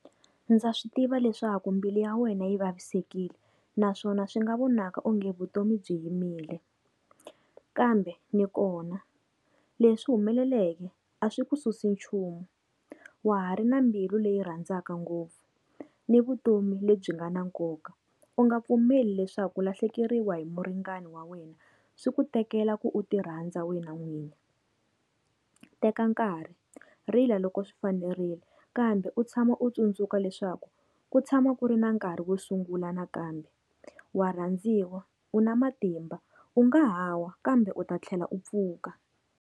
Ndza swi tiva leswaku mbilu ya wena yi vavisekile, naswona swi nga vonaka onge vutomi byi yimile, kambe ni kona. Leswi humeleleke a swi ku susi nchumu wa ha ri na mbilu leyi rhandzaka ngopfu, ni vutomi lebyi nga na nkoka, u nga pfumeli leswaku ku lahlekeriwa hi muringani wa wena swi ku tekela ku u ti rhandza wena n'wini. Teka nkarhi, rila loko swi fanerile kambe u tshama u tsundzuka leswaku ku tshama ku ri na nkarhi wo sungula nakambe, wa rhandziwa u na matimba u nga ha wa kambe u ta tlhela u pfuka.